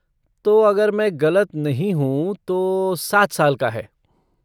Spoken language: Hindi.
तो अगर मैं गलत नहीं हूँ, तो सात साल का है।